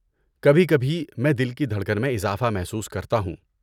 کبھی کبھی، میں دل کی دھڑکن میں اضافہ محسوس کرتا ہوں۔